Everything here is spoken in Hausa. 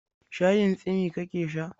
Shayin tsimi ka ke sha?